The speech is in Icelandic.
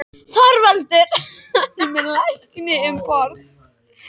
ÞORVALDUR: Hann er með lækni um borð.